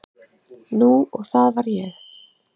Nú og það var ég.